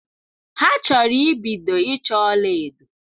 Ha chọrọ ibido ịchọ ọla edo.